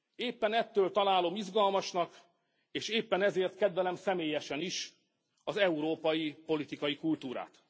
Éppen ettől találom izgalmasnak, és éppen ezért kedvelem személyesen is az európai politikai kultúrát.